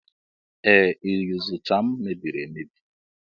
Ee, Iyuzucha m mebiri emebi.